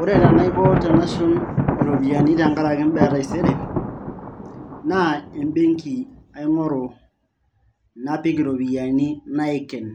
ore tenaiko tenashum iropiyiani tenkaraki imbaa e taisere naa embenki aing`oru napik iropiyiani naiken,